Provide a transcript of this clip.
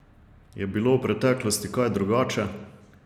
Je bilo v preteklosti kaj drugače?